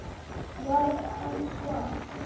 var hans svar.